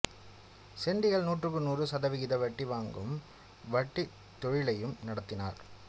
சொண்டிகள் நூற்றுக்கு நூறு சதவிகித வட்டி வாங்கும் வட்டித் தொழிலையும் நடத்தினர்